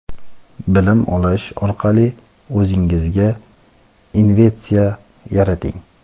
bilim olish orqali o‘zingizga investitsiya yarating.